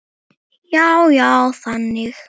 Já, já, þannig.